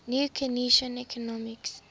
new keynesian economics